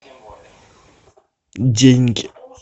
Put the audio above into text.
деньги